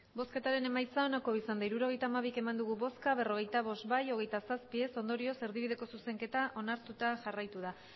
emandako botoak hirurogeita hamabi bai berrogeita bost ez hogeita zazpi ondorioz erdibideko zuzenketa onartuta geratu da